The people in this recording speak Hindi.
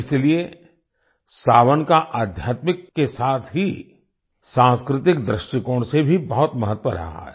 इसीलिए सावन का आध्यात्मिक के साथ ही सांस्कृतिक दृष्टिकोण से भी बहुत महत्व रहा है